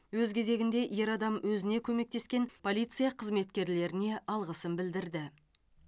өз кезегінде ер адам өзіне көмектескен полиция қызметкерлеріне алғысын білдірді